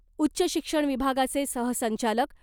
उच्च शिक्षण विभागाचे सहसंचालक